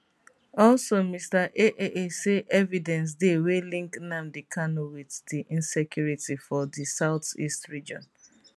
also mr aaa say evidence dey wey link nnamdi kanu wit di insecurity for di south east region